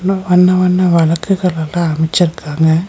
வண்ண வண்ண வெளக்குகள் எல்லா அமச்சுருக்காங்க.